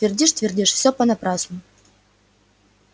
твердишь твердишь всё понапрасну